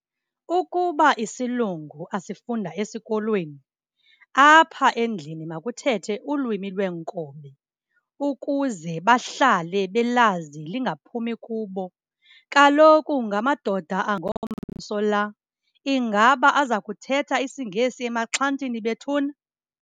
Ukuba isilungu asifunda esikolweni, apha endlini makuthethe ulwimi lweenkobe ukuze bahlale belazi lingaphumi kubo. Kaloku ngamadoda angomso la, ingaba aza kuthetha isiNgesi emaxhantini bethuna?